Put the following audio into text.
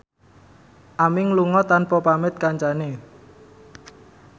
Aming lunga tanpa pamit kancane